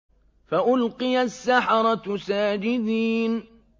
فَأُلْقِيَ السَّحَرَةُ سَاجِدِينَ